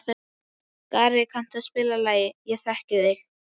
Skari, kanntu að spila lagið „Ég þekki þig“?